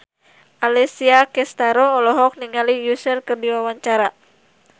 Alessia Cestaro olohok ningali Usher keur diwawancara